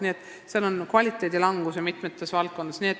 Nii et kvaliteet langes mitmes valdkonnas.